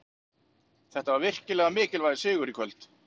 Þetta var virkilega mikilvægur sigur í kvöld.